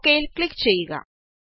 okay യില് click ചെയ്യുക